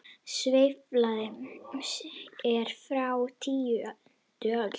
Sverðið er frá tíundu öld.